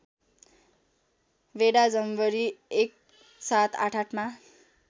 बेडा जनवरी १७८८ मा